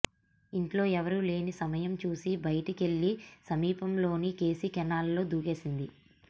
ఇంట్లో ఎవరూ లేని సమయం చూసి బయటికెళ్లి సమీపంలోని కేసీ కెనాల్లో దూకేసింది